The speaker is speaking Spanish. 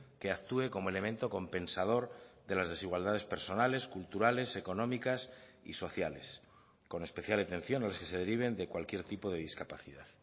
que actúe como elemento compensador de las desigualdades personales culturales económicas y sociales con especial atención a las que se deriven de cualquier tipo de discapacidad